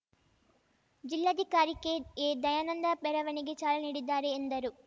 ಜಿಲ್ಲಾಧಿಕಾರಿ ಕೆಎದಯಾನಂದ ಮೆರವಣಿಗೆ ಚಾಲನೆ ನೀಡಲಿದ್ದಾರೆ ಎಂದರು